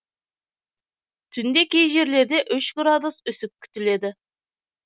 түнде кей жерлерде үш градус үсік күтіледі